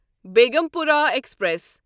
Begampura express